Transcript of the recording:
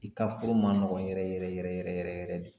I ka furu ma nɔgɔ yɛrɛ yɛrɛ yɛrɛ yɛrɛ yɛrɛ de